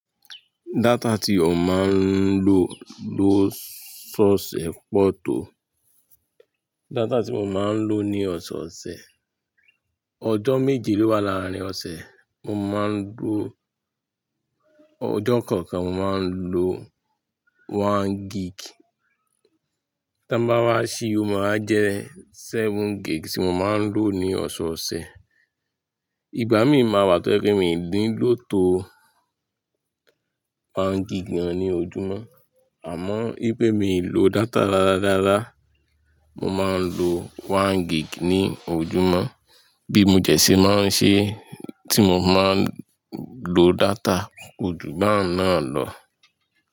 Data tí ó máa ń lò ló sọsẹ pọ tó. Data tí mo máa ń lò ní ọ̀sẹ ọ̀sẹ̀, ọjọ́ méje ló wà láàárín ọ̀sẹ̀, mo máa ń lò, ọjọ́ kọ̀ọ̀kan mo máa ń lò one gig. Tan bá wá ṣí i ó máa jẹ́ seven gig tí mo máa ń lò ní ọ̀sẹ̀ ọ̀sẹ̀. Ìgbà mí máa wà tó ẹ pé mii ní lò tó one gig gàn ní ojúmọ́. Àmọ́, n pé mii lò data rárá rárá, mo máa ń lò one gig ní ojúmọ́. Bí mo dẹ̀se máa ń ṣe tí mo máa ń lò data, kojú bà un náà lọ.